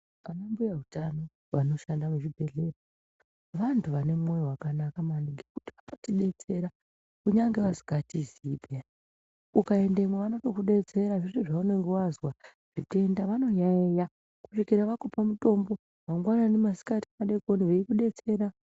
Anambuya utano vanoshanda muchibhedhleya vantu vanemwoyo wakanaka maningi ngekuti vanotidetsera kunyange vasingatizii peyani ukaendemwo vanotokudetsera zviro zvaunenge wazwa zvitenda vanoyaiya kusvikira vakupa mutombo, mangwanani, masikati, madeekoni vekudetsera.